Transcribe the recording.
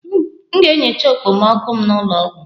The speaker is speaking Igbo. M ga-enyocha okpomọkụ m n'ụlọ ọgwụ